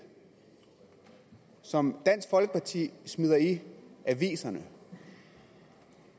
som dansk folkeparti smider i aviserne